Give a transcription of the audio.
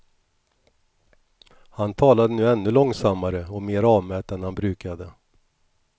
Han talade nu ännu långsammare och mer avmätt än han brukade.